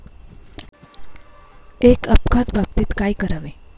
एक अपघात बाबतीत काय करावे?